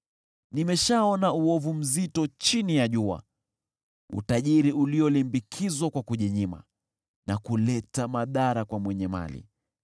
Nimeshaona uovu mzito chini ya jua: Utajiri uliolimbikizwa kwa kujinyima na kuleta madhara kwa mwenye mali,